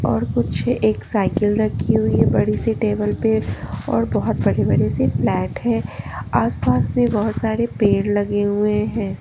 और कुछ एक साइकिल रखी हुई है बड़ी सी टेबल पे और बहुत बड़े-बड़े से फ्लैट है आसपास में बहुत सारे पेड़ लगे हुए हैं।